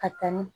Ka taa ni